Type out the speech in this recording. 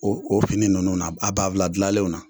O o fini nunnu ba ba bafula gilanlenw na